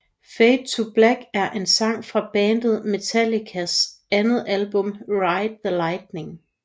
Fade To Black er en sang fra bandet Metallicas andet album Ride the Lightning